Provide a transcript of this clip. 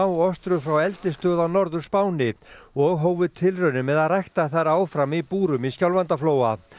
smáostrur frá eldisstöð á Norður Spáni og hófu tilraunir með að rækta þær áfram í búrum í Skjálfandaflóa